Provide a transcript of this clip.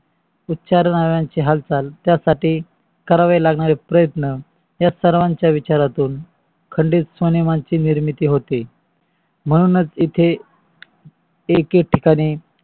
उचार्नाची हालचाल त्यसाठी करावे लागणारे प्रयत्न या सर्वांच्या विचारातून खंडित स्व्नेमांची निर्मिती होते. म्हणूनच इथे एकत्रितपणे